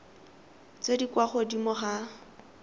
tse di kwa godimo ga